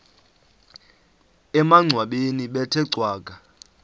emangcwabeni bethe cwaka